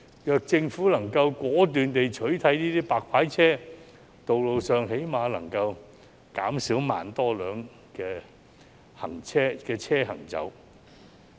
若政府能夠果斷地取締這些"白牌車"，道路上最低限度可以減少1萬多輛車行走。